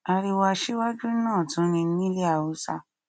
ariwo aṣíwájú náà tún ni ní ilẹ haúsá